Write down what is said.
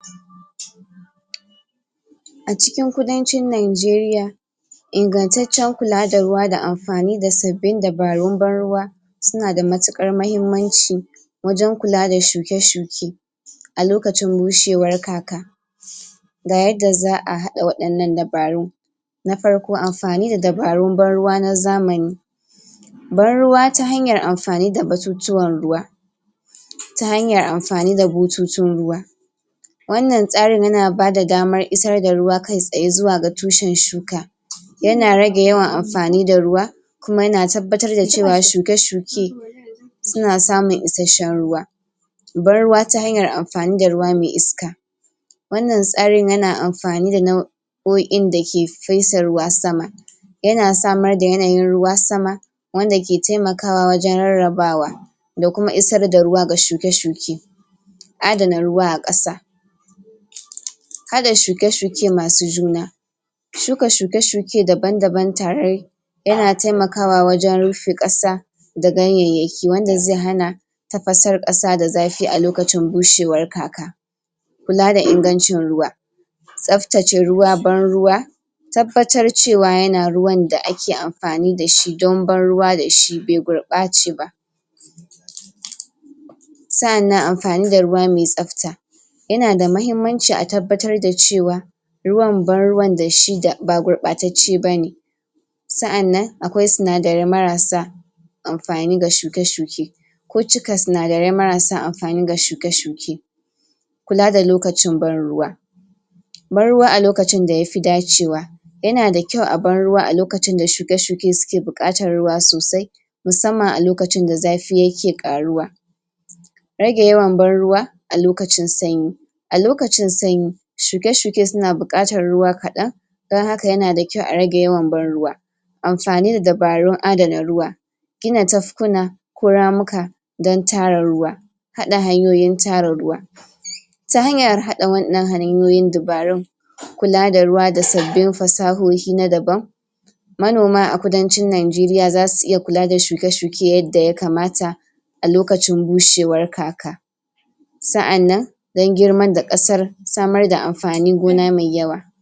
acikin kudancin nigeria ingantace kula da ruwa da anfani da sabin dabarun ban-ruwa sunada matukar mahimmanci wajan kula da shuke-shuke alokacin bushewar kaka gayanda za'a hada wadin nan dabarun na farko anfani da dabrun ban-ruwa na zamani ban-ruwa ta hanya anifani? ciwon ruwa ta hanyan anfani da bututun ruwa wannan tsarin yana bada daman isar da ruwa kai tsaye zuwa ga tushen shuka yana rage yawa anfani da ruwa kuma yana tabbatar da cewa shuke-shuke suna samun isashen ruwa bad-ruwa ta hanyan anfani da ruwa mai iska wannan tsarin yana anfani da nau nau'o'in dake fesa ruwa sama yana samar da yanayin ruwa sama wanda ki taimakawa wajan rarrabawa dakuma isarda ruwa ga shuke-shuke adana ruwa ƙasa haɗa shuke-shuke masu juna shuka shuke-shuke daban-daban tare yana taimakawa wajan rufe ƙasa da ganyanyaki wanda zai hana tafasar ƙasa dazafi lokacin bushewar kaka kulada ingancin ruwa tsaftace ruwa ban-ruwa tabbata cewa yana ruwan da ake anfani dashi dan ban-ruwa dashi be gurɓace ba sa'anan anfani da ruwa me tsafta yanada mahimmanci a tabbatar da cewa ruwan ban-ruwan dashi ba gurɓatace bane sa'anan akwai sinadarai marasa anfani ga shuke-shuke ko cika marasa anfani ga shuke-shuke kula da lokacin ban-ruwa ban-ruwa alokacin da yafi dacewa yanada kyau a ban-ruwa alokacin da shuke-shuke suke bukatar ruwa sosai musamman alokacin da zafi yaki ƙaruwa rage yawan ban-ruwa alokacin sanyi alokacin sanyi shukee-shuke suna buƙatan ruwa kaɗan dan haka yanada kyau a rage yawan ban-ruwa anfani da dabarun adana ruwa gina tafkuna ko ramuka dan tara duwa haɗa hanyoyin tara ruwa ta hanya haɗa wannan anyoyin dabarun kulada ruwa da sabbin fasahuhi na daban manoma a kudancin nigeria zasu iya kula da shuke-shuke yanda ya kamata alokacin buhewar kaka sa'anan dan girman da ƙasan samarda anfani gona me yaawa